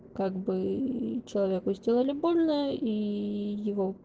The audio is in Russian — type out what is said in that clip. как бы человеку сделали больно и его